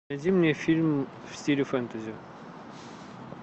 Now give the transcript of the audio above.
найди мне фильм в стиле фэнтези